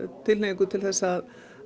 tilhneigingu til þess að